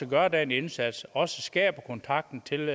gør den indsats og skaber kontakten til